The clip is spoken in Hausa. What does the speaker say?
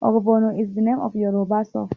Ogbono is the name of a Yoruba soup.